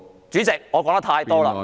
主席，我說得太多了。